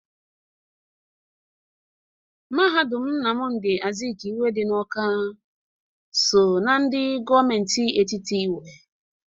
Mahadum Nnamdị Azikiwe dị n'Ọka so ndị gọọmentị etiti nwe.